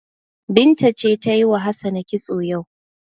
Binta ce ta yi wa Hassana kitso yau.